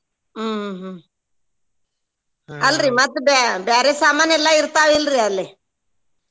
ಹ್ಮ್ ಹ್ಮ್ ಹ್ಮ್ ಅಲ್ರೀ ಮತ್ತ್ ಬ್ಯಾ~ ಬ್ಯಾರೆ ಸಾಮಾನ್ ಎಲ್ಲಾ ಇರ್ತಾವ್ ಇಲ್ರೀ ಅಲ್ಲೆ?